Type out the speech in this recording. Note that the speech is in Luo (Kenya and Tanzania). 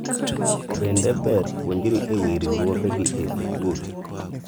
bende ber puonjori ewi riwuoge gi e sikul ?